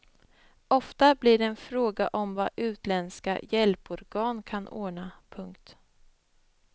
Ofta blir det en fråga om vad utländska hjälporgan kan ordna. punkt